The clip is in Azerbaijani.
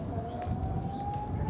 O-o!